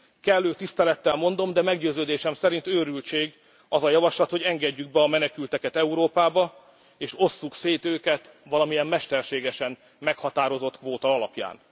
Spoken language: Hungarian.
Kellő tisztelettel mondom, de meggyőződésem szerint őrültség az a javaslat, hogy engedjük be a menekülteket Európába, és osszuk szét őket valamilyen mesterségesen meghatározott kvóta alapján.